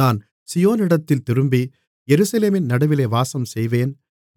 நான் சீயோனிடத்தில் திரும்பி எருசலேமின் நடுவிலே வாசம்செய்வேன்